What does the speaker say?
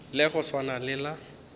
la go swana le la